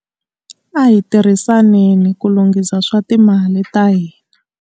A hi tirhisaneni ku lunghisa swa timali ta hina.